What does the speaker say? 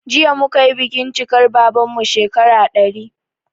Jiya muka yi bikin cikar babanmu shekara 100